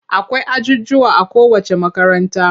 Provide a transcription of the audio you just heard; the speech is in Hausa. Akwai ajujjuwa a kowacce makaranta.